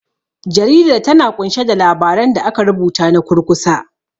Jaridar, ta na ƙunshe da labaran da aka rubuta na kurkusa.